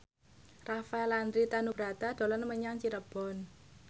Rafael Landry Tanubrata dolan menyang Cirebon